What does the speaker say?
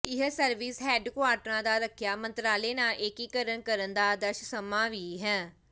ਇਹ ਸਰਵਿਸ ਹੈੱਡਕੁਆਰਟਰਾਂ ਦਾ ਰੱਖਿਆ ਮੰਤਰਾਲੇ ਨਾਲ ਏਕੀਕਰਨ ਕਰਨ ਦਾ ਆਦਰਸ਼ ਸਮਾਂ ਵੀ ਹੈ